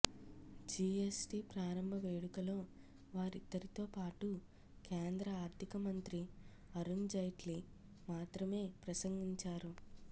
GST ప్రారంభ వేడుకలో వారిద్దరితో పాటు కేంద్ర ఆర్థిక మంత్రి అరుణ్జైట్లీ మాత్రమే ప్రసంగించారు